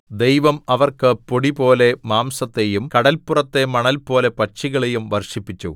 ദൈവം അവർക്ക് പൊടിപോലെ മാംസത്തെയും കടൽപുറത്തെ മണൽപോലെ പക്ഷികളെയും വർഷിപ്പിച്ചു